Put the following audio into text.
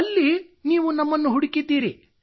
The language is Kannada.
ಅಲ್ಲಿ ನೀವು ನಮ್ಮನ್ನು ಹುಡುಕಿದ್ದೀರಿ